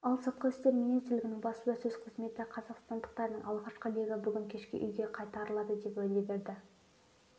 ал сыртқы істер министрлігінің баспасөз қызметі қазақстандықтардың алғашқы легі бүгін кешке үйге қайтарылады деп уәде берді